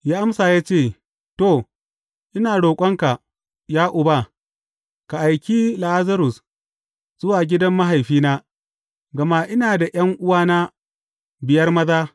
Ya amsa ya ce, To, ina roƙonka, ya uba, ka aiki Lazarus zuwa gidan mahaifina, gama ina da ’yan’uwana biyar maza.